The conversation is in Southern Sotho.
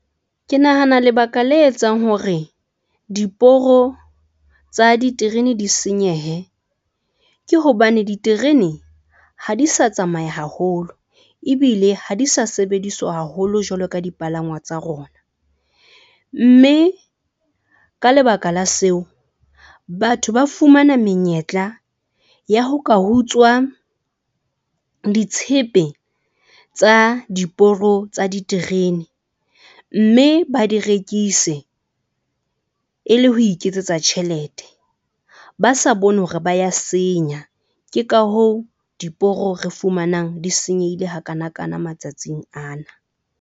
Ke nahana lebaka le etsang hore diporo tsa diterene di senyehe ke hobane diterene ha di sa tsamaya haholo. Ebile ha di sa sebediswa haholo jwalo ka dipalangwa tsa rona, mme ka lebaka la seo batho ba fumana menyetla ya ho ka utswa ditshepe tsa diporo tsa diterene, mme ba di rekise e le ho iketsetsa tjhelete. Ba sa bone hore ba ya senya. Ke ka hoo diporo re fumanang di senyehile ha kanakana matsatsing ana.